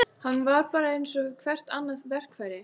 Hann var bara eins og hvert annað verkfæri.